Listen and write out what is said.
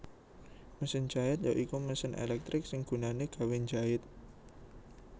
Mesin jait ya iku mesin elektrik sing gunané gawé njait